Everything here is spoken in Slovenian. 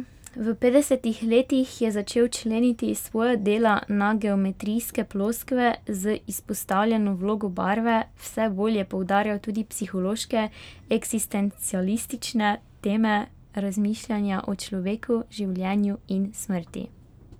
V petdesetih letih je začel členiti svoja dela na geometrijske ploskve z izpostavljeno vlogo barve, vse bolj je poudarjal tudi psihološke, eksistencialistične teme, razmišljanja o človeku, življenju in smrti.